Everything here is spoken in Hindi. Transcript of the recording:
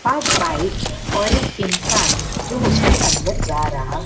पांच बाइक और एक इंसान जो उसके अन्दर जा रहा--